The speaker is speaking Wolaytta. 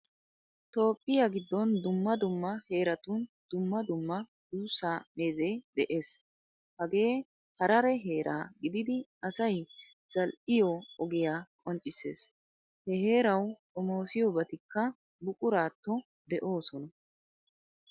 Toohphpiyaa giddon dumma dumma heeratun dumma dumma duussa meeze de'ees. Hagee harare heera gididi asay zal'iyo ogiyaa qonccissees. He heerawu xoomosiyobatikka buquratto deosona.